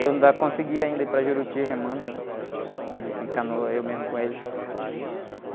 Eu ainda consegui, ainda, ir para Juruti remando, né? Êh, ir de canoa, eu mesmo com eles.